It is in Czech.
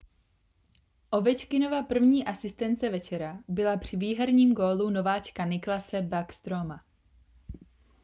ovečkinova první asistence večera byla při výherním gólu nováčka nicklase backstroma